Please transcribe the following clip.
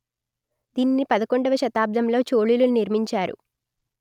దీనిని పదకొండువ శతాబ్దంలో చోళులు నిర్మించారు